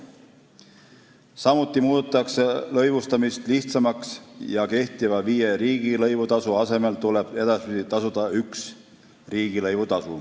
Samuti muudetakse lõivustamist lihtsamaks: kehtiva viie riigilõivu asemel tuleb edasi tasuda üht riigilõivu.